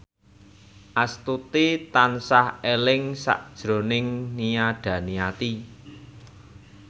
Astuti tansah eling sakjroning Nia Daniati